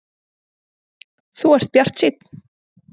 Þú ert bjartsýnn!